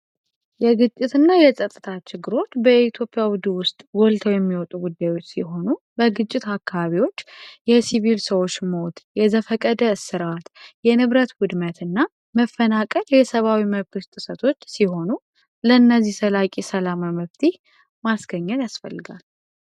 የግጭት እና የጸጥታ ችግሮች በኢትዮጵያ ውስጥ ጎልተው የሚወጡ ጉዳዩች ሲሆኑ በግጭት አካባቢዎች የሲቪል ሰዎች ሞት የዘፈቀደ የእርስ በእርስ ጦርነት እና የንብረት ውድመት እና መፈናቀል የሰባዊ መብት ጥሰቶች ሲሆኑ ለእነዚህ ዘላቂ ሰላም መፍትሔ ማስገኘት ያስፈልጋል።